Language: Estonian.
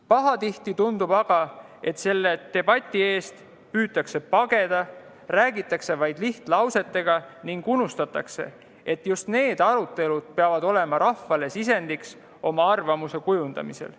Pahatihti tundub aga, et selle debati eest püütakse pageda, räägitakse vaid lihtlausetega ning unustatakse, et just need arutelud peavad olema rahvale sisendiks oma arvamuse kujundamisel.